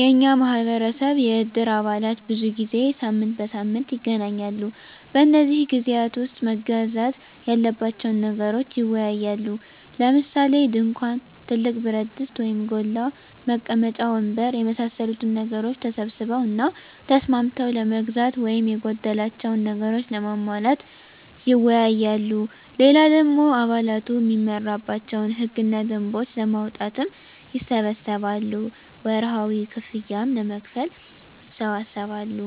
የኛ ማህበረሰብ የእድር አባላት ብዙ ጊዜ ሳምንት በሳምንት ይገናኛሉ። በነዚህ ግዜያት ዉስጥ መገዛት ያለባቸዉን ነገሮች ይወያያሉ። ለምሳሌ፦ ድንኳን፣ ትልቅ ብረትድስት (ጎላ) ፣ መቀመጫ ወንበር የመሳሰሉትን ነገሮች ተሰብስበዉ እና ተስማምተዉ ለመግዛት ወይም የጎደላቸዉን ነገሮች ለማሟላት ይወያያሉ። ሌላ ደሞ አባላቱ እሚመራባቸዉን ህግ እና ደንቦች ለማዉጣትም ይሰበሰባሉ፣ ወርሀዊ ክፍያም ለመክፈል ይሰበሰባሉ